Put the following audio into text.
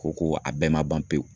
Ko ko a bɛɛ ma ban pewu